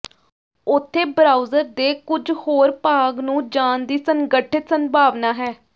ਉੱਥੇ ਬਰਾਊਜ਼ਰ ਦੇ ਕੁਝ ਹੋਰ ਭਾਗ ਨੂੰ ਜਾਣ ਦੀ ਸੰਗਠਿਤ ਸੰਭਾਵਨਾ ਹੈ